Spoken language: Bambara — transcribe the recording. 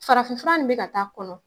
Farafin furan in bɛ ka taa a kɔnɔ.